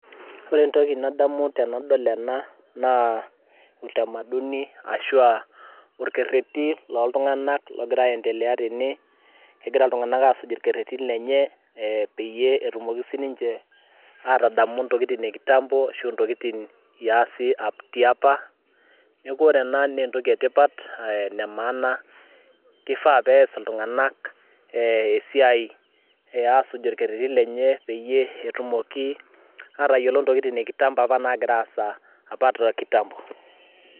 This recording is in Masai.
ore entoki nadamu tenadol ena naa utamaduni ashua orkerreti loltung'anak logira aendelea tene kegira iltung'anak asuj orkerreti lenye eh, peyie etumoki sininche atadamu ntokitin e kitambo ashu intokitin iasi tiapa niaku ore ena naa entoki etipat ene maana kifaa pees iltung'anak eh, esiai asuj olkerreti lenye peyie etumoki atayiolo ntokitin e kitambo apa nagira aasa apa te kitambo.